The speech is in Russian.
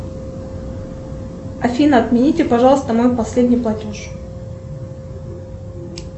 афина отмените пожалуйста мой последний платеж